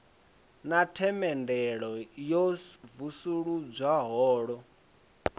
na themendelo yo vuledzwa holo